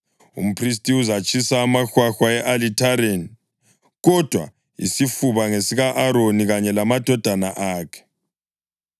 Umphristi uzatshisa amahwahwa e-alithareni, kodwa isifuba ngesika-Aroni kanye lamadodana akhe.